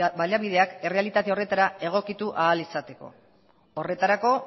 baliabideak errealitate horretara egokitu ahal izateko horretarako